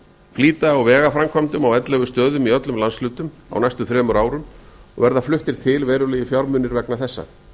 flýta á vegaframkvæmdum á ellefu stöðum í öllum landshlutum á næstu þremur árum og verða fluttir bil eruelgir fjármunir vegna þessa